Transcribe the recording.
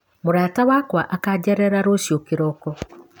Mũrata wakwa akanjerera rũciũ kĩroko.